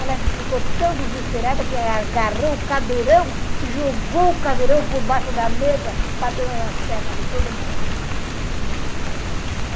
Ela ficou tão desesperada que agarrou o cadeirão e jogou o cadeirão por baixo da mesa, batendo nas pernas de todo mundo.